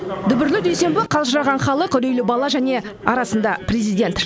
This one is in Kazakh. дүбірлі дүйсенбі қалжыраған халық үрейлі бала және арасында президент